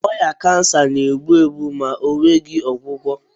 Ọrịa kansa na-egbu egbu ma ọ nweghị ọgwụgwọ